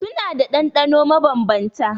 Suna da ɗanɗano mabanbanta.